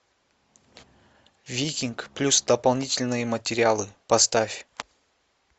викинг плюс дополнительные материалы поставь